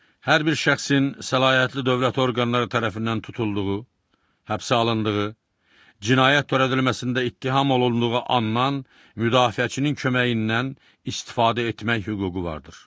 Hər bir şəxsin səlahiyyətli dövlət orqanları tərəfindən tutulduğu, həbsə alındığı, cinayət törədilməsində ittiham olunduğu anadan müdafiəçinin köməyindən istifadə etmək hüququ vardır.